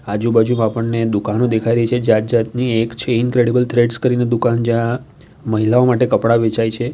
આજુબાજુ આપણને દુકાનો દેખાઈ રહી છે જાત જાતની એક છે ઈનક્રેડેબલ થ્રેડર્સ કરીને દુકાન જ્યા મહિલાઓ માટે કપડા વેચાય છે.